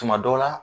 Tuma dɔw la